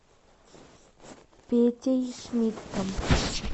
петей шмидтом